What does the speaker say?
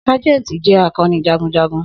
Sajenti jẹ akọni jagunjagun.